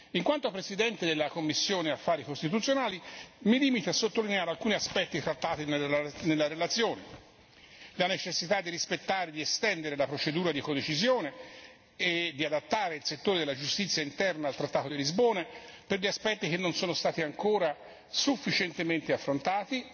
In qualità di presidente della commissione per gli affari costituzionali mi limito a sottolineare alcuni aspetti trattati nella relazione la necessità di rispettare gli standard della procedura di codecisione e di adattare il settore della giustizia interna al trattato di Lisbona per gli aspetti che non sono stati ancora sufficientemente affrontati